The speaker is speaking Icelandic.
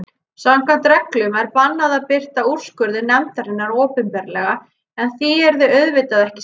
Samkvæmt reglum er bannað að birta úrskurði nefndarinnar opinberlega, en því yrði auðvitað ekki sinnt.